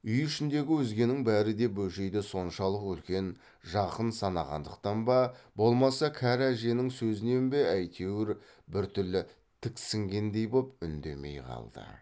үй ішіндегі өзгенің бәрі де бөжейді соншалық үлкен жақын санағандықтан ба болмаса кәрі әженің сөзінен бе әйтеуір біртүрлі тіксінгендей боп үндемей қалды